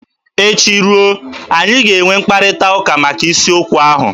Echi ruo, anyị ga-enwe mkparịtaụka maka isiokwu ahụ.